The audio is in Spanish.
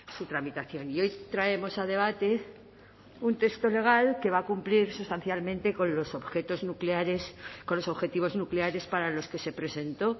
su tramitación y hoy traemos a debate un texto legal que va a cumplir sustancialmente con los objetos nucleares con los objetivos nucleares para los que se presentó